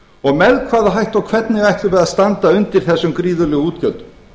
og með hvaða hætti og hvernig ætlum við að standa undir þessum gríðarlegu útgjöldum